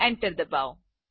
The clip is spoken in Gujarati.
એન્ટર ડબાઓ